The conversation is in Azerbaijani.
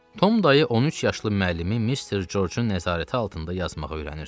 Tom dayı 13 yaşlı müəllimi Mr. George-un nəzarəti altında yazmağa öyrənirdi.